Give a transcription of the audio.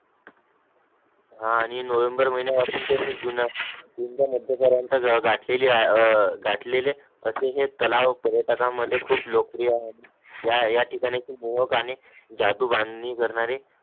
हा नई नोव्हेंबर महिन्यामध्ये जून जून चा मध्यापर्यंत गहू घातलेली ए ए घातलेली तसे हे तलाव पर्यटकांमध्ये खूप लोकप्रिय आहे या या ठिकाणचे मोहक आणि जादू बांधणी करणारे